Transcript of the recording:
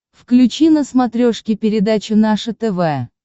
включи на смотрешке передачу наше тв